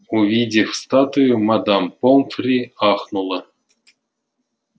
увидев статую мадам помфри ахнула